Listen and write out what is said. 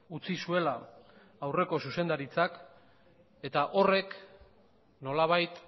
utzi zuela aurreko zuzendaritzak eta horrek nolabait